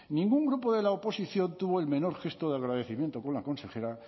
ningún grupo de la oposición tuvo el menor gesto de agradecimiento por la consejera